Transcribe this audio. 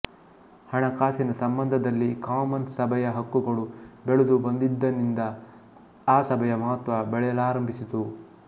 ಹಣಕಾಸಿನ ಸಂಬಂಧದಲ್ಲಿ ಕಾಮನ್ಸ್ ಸಭೆಯ ಹಕ್ಕುಗಳು ಬೆಳೆದು ಬಂದಂದಿನಿಂದ ಆ ಸಭೆಯ ಮಹತ್ತ್ವ ಬೆಳೆಯಲಾರಂಭಿಸಿತು